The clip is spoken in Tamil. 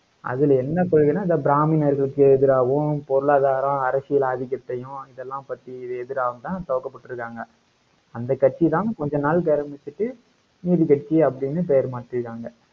அதுல என்ன கொள்கைன்னா, அந்த பிராமணர்களுக்கு எதிராவும், பொருளாதாரம், அரசியல் ஆதிக்கத்தையும் இதெல்லாம் பத்தி எதிராவும்தான் துவக்கப்பட்டிருக்காங்க. அந்த கட்சிதான் கொஞ்ச நாளைக்கு ஆரம்பிச்சுட்டு நீதிக்கட்சி அப்படின்னு பெயர் மாற்றிட்டாங்க